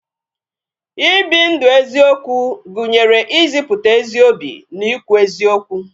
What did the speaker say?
I bi ndu eziokwu gụnyere ịzịputa ezi obi na I kwu eziokwu